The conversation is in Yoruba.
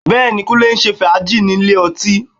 Bẹ́ẹ̀ni, Kúnlé ń ṣe fàájì ní ilé ọtí